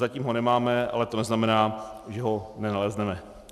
Zatím ho nemáme, ale to neznamená, že ho nenalezneme.